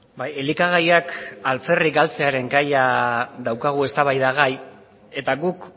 bai elikagaiak alferrik galtzearen gaia daukagu eztabaidagai eta guk